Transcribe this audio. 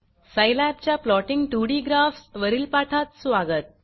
सायलॅबच्या plotting 2डी graphs वरील पाठात स्वागत